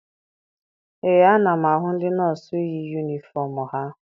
Ee, ana m ahụ ndị nọọsụ yi yunifọm ha.